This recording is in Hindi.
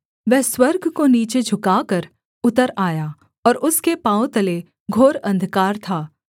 वह स्वर्ग को नीचे झुकाकर उतर आया और उसके पाँवों तले घोर अंधकार था